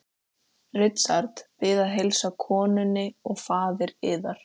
Richard Bið að heilsa konunni og faðir yðar.